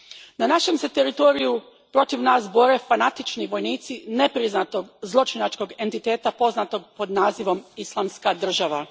Na našem se teritoriju protiv nas bore fanatični vojnici nepriznatog zločinačkog entiteta poznatog pod nazivom Islamska država.